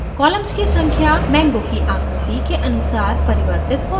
columns की संख्या mango की आकृति के अनुसार परिवर्तित हो सकती है